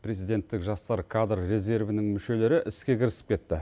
президенттік жастар кадр резервінің мүшелері іске кірісіп кетті